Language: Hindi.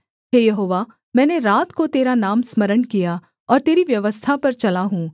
हे यहोवा मैंने रात को तेरा नाम स्मरण किया और तेरी व्यवस्था पर चला हूँ